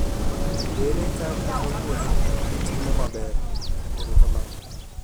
Ere kaka kaqwuono itimo maber, erokamo